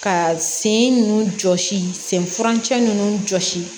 Ka sen nunnu jɔsi sen furancɛ ninnu jɔsi